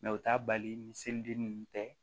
u t'a bali ni seliden ninnu tɛ